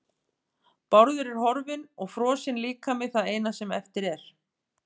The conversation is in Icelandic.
Bárður er horfinn og frosinn líkami það eina sem eftir er.